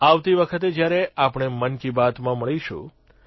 આવતી વખતે જયારે આપણે મન કી બાતમાં મળીશું